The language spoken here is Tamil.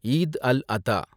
ஈத் அல் அதா